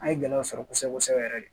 An ye gɛlɛya sɔrɔ kosɛbɛ kosɛbɛ yɛrɛ de